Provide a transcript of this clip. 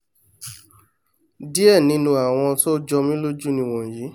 díẹ̀ nínú àwọn tó jọmí lójú nìwọnyí